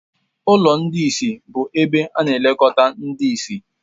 Ụlọ ndị ìsì bụ ebe ana-elekọta ndị ìsì